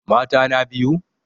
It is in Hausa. Mata na biyu?